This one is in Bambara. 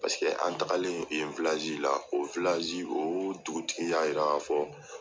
Paseke an tagalen yen la, o o dugutigi y'a yira k'a fɔ